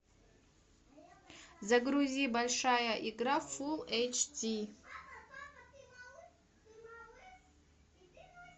загрузи большая игра фулл эйч ди